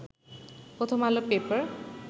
প্রথম আলো পেপার